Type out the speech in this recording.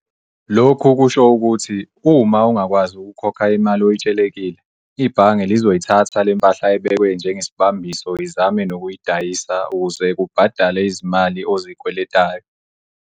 Lokhu kusho ukuthi, uma ungakwazi ukukhokha imali oyitshelekile, ibhange lizoyithatha le mpahla ebekwe njengesibambiso izame nokuyidayisa ukuze kubhadale izimali ozikweletayo.